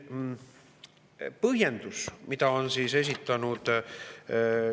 Põhjenduse kohta, mida on esitatud.